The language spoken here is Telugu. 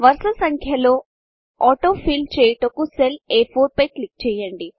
వరుస సంఖ్యలు ఆటో ఫిల్ చేయుటకు సెల్ అ4 పై క్లిక్ చేయండి